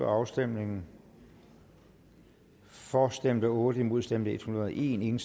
afstemningen for stemte otte imod stemte en hundrede og en